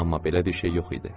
Amma belə bir şey yox idi.